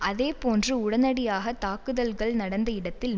அதே போன்று உடனடியாக தாக்குதல்கள் நடந்த இடத்தில்